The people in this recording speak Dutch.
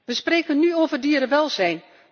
We spreken nu over dierenwelzijn.